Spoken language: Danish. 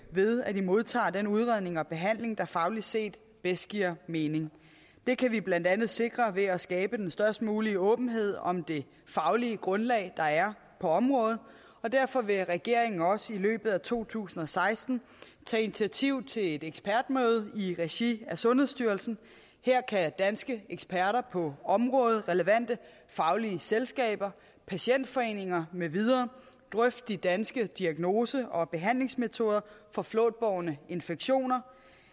ved at de modtager den udredning og behandling der fagligt set bedst giver mening det kan vi blandt andet sikre ved at skabe den størst mulige åbenhed om det faglige grundlag der er på området og derfor vil regeringen også i løbet af to tusind og seksten tage initiativ til et ekspertmøde i regi af sundhedsstyrelsen her kan danske eksperter på området relevante faglige selskaber patientforeninger med videre drøfte de danske diagnose og behandlingsmetoder for flåtbårne infektioner